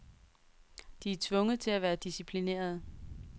De er tvunget til at være disciplinerede.